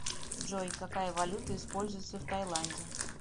джой какая валюта используется в таиланде